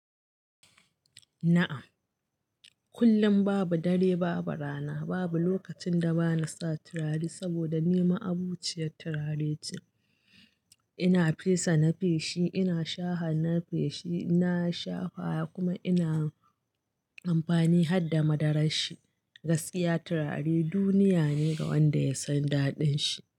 Na'am, kullum babu dare babu rana, babu lokacin da bana sa turare saboda ni ma'abociyar turare ce. Ina fesa na feshi, ina shaha na feshi, ina shafawa kuma ina amfani har da madarar shi. Gaskiya turare duniya ne ga wanda ya san daɗin shi.